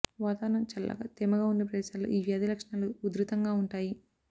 వాతావరణం చల్లగా తేమగా ఉండే ప్రదేశాల్లో ఈ వ్యాధి లక్షణాలు ఉధృతంగా ఉంటాయి